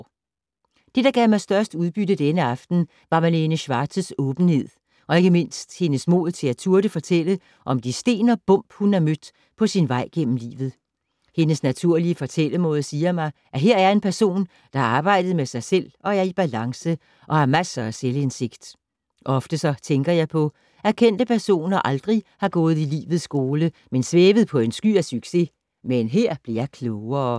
Det der gav mig størst udbytte denne aften, var Malene Schwartz’ åbenhed, og ikke mindst hendes mod til at turde fortælle om de sten og bump, hun har mødt på sin vej gennem livet. Hendes naturlige fortællemåde siger mig, at her er en person, der har arbejdet med sig selv og er i balance og har masser af selvindsigt. Ofte så tænker jeg, at kendte personer aldrig har gået i livets skole, men svævet på en sky af succes, men her blev jeg klogere.